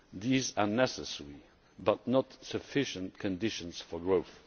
These are necessary but not sufficient conditions for growth.